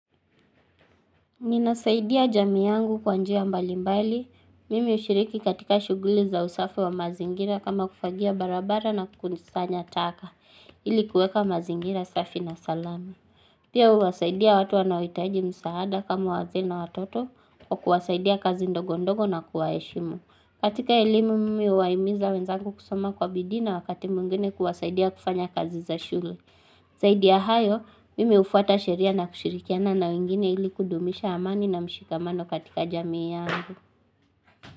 Minasaidia jami yangu kwa njia mbali mbali. Mimi ushiriki katika shuguli za usafi wa mazingira kama kufagia barabara na kusanya taka ili kuweka mazingira safi na salama. Pia uwasaidia watu wanao hitaji msaada kama wazee na watoto wa kuwasaidia kazi ndogondogo na kuwaeshimu. Katika elimu mimi huwaimiza wenzangu kusoma kwa bidii na wakati mwingene kuwasaidia kufanya kazi za shule. Zaidi ya hayo, mimi hufwata sheria na kushirikiana na wengine ili kudumisha amani na mshikamano katika jamii yangu.